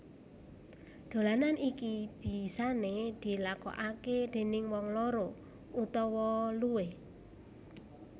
Dolanan iki bisane dilakokake déning wong loro utawa luwih